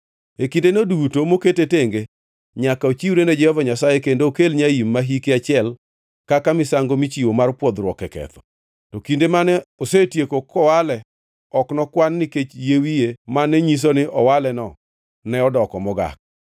E kindeno duto mokete tenge nyaka ochiwre ne Jehova Nyasaye kendo okel nyaim ma hike achiel kaka misango michiwo mar pwodhruok e ketho. To kinde mane osetieko kowale ok nokwan nikech yie wiye mane nyiso ni owaleno ne odoko mogak.